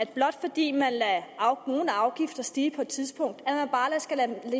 blot fordi man lader nogle afgifter stige på et tidspunkt skal